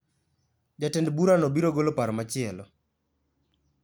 Jatend bura no biro golo paro machielo